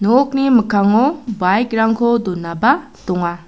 nokni mikkango baik rangko donaba donga.